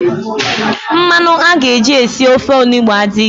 Mmanụ a ga-eji sie ofe onugbo a adịghị.